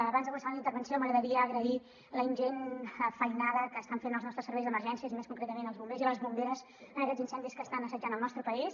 abans de començar la meva intervenció m’agradaria agrair la ingent feinada que estan fent els nostres serveis d’emergències i més concretament els bombers i les bomberes en aquests incendis que estan assetjant el nostre país